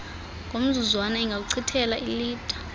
ngomzuzwana ingakuchithela iilitha